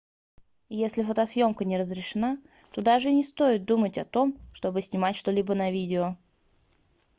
если фотосъёмка не разрешена то даже и не стоит думать о том чтобы снимать что-либо на видео